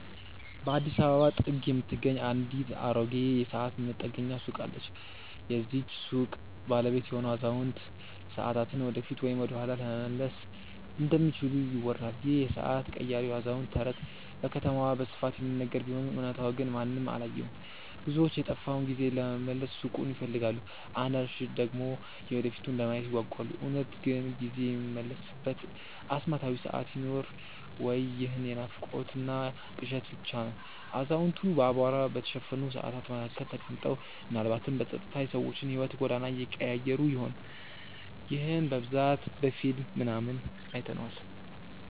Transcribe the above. በአዲስ አበባ ጥግ የምትገኝ አንዲት አሮጌ የሰዓት መጠገኛ ሱቅ አለች። የዚህች ሱቅ ባለቤት የሆነው አዛውንት፣ ሰዓታትን ወደፊት ወይም ወደኋላ መመለስ እንደሚችሉ ይወራል ይህ የሰዓት ቀያሪው አዛውንት ተረት በከተማዋ በስፋት የሚነገር ቢሆንም እውነታው ግን ማንም አላየውም። ብዙዎች የጠፋውን ጊዜ ለመመለስ ሱቁን ይፈልጋሉ አንዳንዶች ደግሞ የወደፊቱን ለማየት ይጓጓሉ። እውነት ግን ጊዜ የሚመለስበት አስማታዊ ሰዓት ይኖር ወይ ይህ የናፍቆትና ቅዠት ብቻ ነው አዛውንቱ በአቧራ በተሸፈኑ ሰዓታት መካከል ተቀምጠው፣ ምናልባትም በጸጥታ የሰዎችን የሕይወት ጎዳና እየቀያየሩ ይሆን? ይህንን በብዛት በፊልም ምናምን አይተነዋል